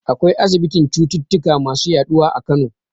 Akwai asibitin cututtuka masu yaɗuwa a Kano.